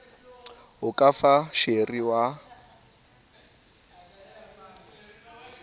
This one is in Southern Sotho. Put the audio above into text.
o ka fa sheri wa